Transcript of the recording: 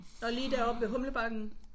Og lige deroppe ved Humlebakken?